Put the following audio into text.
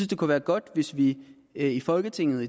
det kunne være godt hvis vi i folketinget